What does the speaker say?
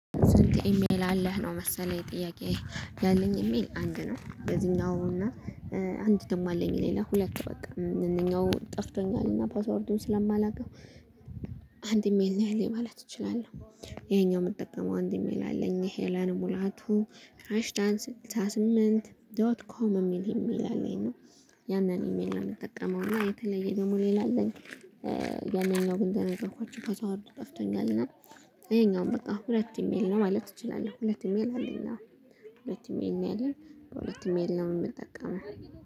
ስንት ኢሜል አለህ ነው መሰለኝ ጥያቄዬ ያለኝ ኢሜል አንድ ነው የዚህኛው እና አንድ ደግሞ አለኝ ሌላ ሁለት በቃ አንደኛው ጠፍቶኛል እና ፓስወርዱን ስለማላውቀው። አንድ ኢሜል ነው ያለኝ ማለት እችላለሁ። ይሄኛው የምትጠቀመው አንድ ሜል አለኝ ሄለን ሙላቱ ሃይሽዳንት ስልሳ ስምንት ዶት ኮም የሚል ኢሜል አለኝ ነው። ያንን ኢሜል ነው የምጠቀመው እና የተለየ ደግሞ ሌላ አለኝ። ያኛው ግን እንደነገርኳቸሁ ፓስወርዱ ጠፍተኛል እና። ይሄኛውም በቃ ሁለት ሜል ነው ማለት ትችላለህ ሁለት ኢሜል? ሁለት ኢሜል ነው ያለኝ። በሁለት ኢሜል ነው የምንጠቀመው።